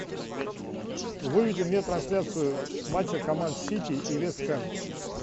выведи мне трансляцию матча команд сити и вест хэм